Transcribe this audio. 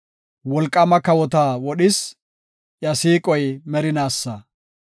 Wolqaama kawota wodhis; iya siiqoy merinaasa.